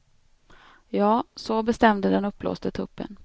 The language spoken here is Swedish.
Ja, så bestämde den uppblåste tuppen.